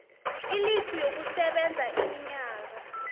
ilifu yokusebenza iminyaka